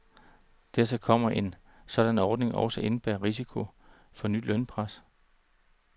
Dertil kommer, at en sådan ordning også indebærer risiko for nyt lønpres.